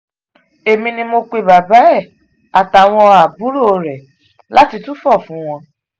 èmi ni mo pe bàbá ẹ̀ àtàwọn àbúrò ẹ̀ láti túfọ̀ fún wọn